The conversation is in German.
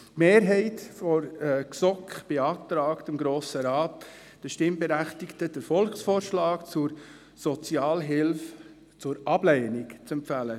Die Mehrheit der GSoK beantragt dem Grossen Rat, den Stimmberechtigten den Volksvorschlag zur Sozialhilfe zur Ablehnung zu empfehlen.